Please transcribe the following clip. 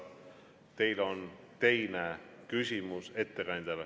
Teil on teine küsimus ettekandjale.